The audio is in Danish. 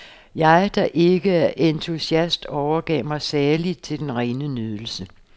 Jeg, der ikke er isentusiast, overgav mig saligt til den rene nydelse.